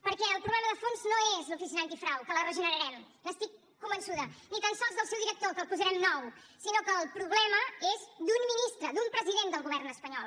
perquè el problema de fons no és l’oficina antifrau que la regenerarem n’estic convençuda ni tan sols el seu director que el posarem nou sinó que el problema és d’un ministre d’un president del govern espanyol